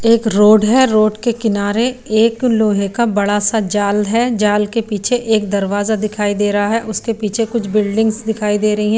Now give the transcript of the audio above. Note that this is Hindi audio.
एक रोड है रोड के किनारे एक लोहे का बड़ा सा जाल है जाल के पीछे एक दरवाजा दिखाई दे रहा है उसके पीछे कुछ बिल्डिंग्स दिखाई दे रही हैं।